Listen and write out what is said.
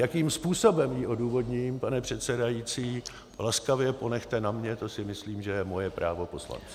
Jakým způsobem ji odůvodním, pane předsedající, laskavě ponechte na mně, to si myslím, že je moje právo poslance.